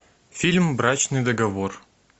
фильм брачный договор